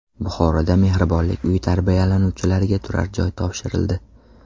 Buxoroda mehribonlik uyi tarbiyalanuvchilariga turarjoy topshirildi.